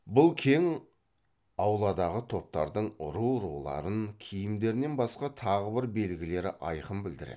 бұл кең ауладағы топтардың ру руларын киімдерінен басқа тағы бір белгілері айқын білдіреді